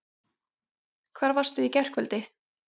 Hvar varstu í gærkvöldi?